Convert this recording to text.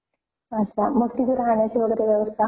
अच्छा मग तिथे राहण्याची वगैरे व्यवस्था ?